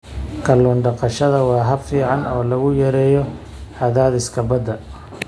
Kallun daqashada waa hab fiican oo lagu yareeyo cadaadiska badda.